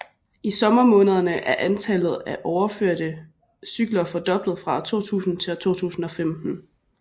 I sommermånederne er antallet af overførte cykler fordoblet fra 2000 til 2015